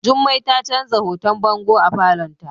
Jummai ta canza hoton bango a falon ta.